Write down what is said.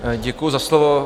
Děkuji za slovo.